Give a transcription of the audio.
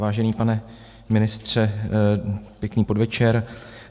Vážený pane ministře, pěkný podvečer.